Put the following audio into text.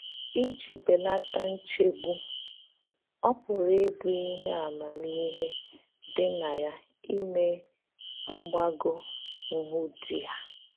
Ìjì bèlàtà nchègbù, ọ pụ̀rà íbụ̀ íhè àmàmíhè dị̀ nà yá ímè mgbàgò nhụ́̀díè.